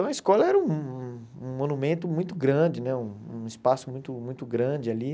Então a escola era um um monumento muito grande, né um um espaço muito muito grande ali.